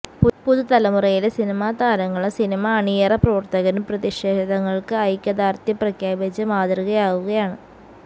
പുതുതലമുരയിലെ സിനിമാതാരങ്ങളും സിനിമാ അണിയറ പ്രവർത്തകരും പ്രതിഷേധങ്ങൾക്ക് ഐക്യദാർഢ്യം പ്രഖ്യാപിച്ച് മാതൃകയാവുകയാണ്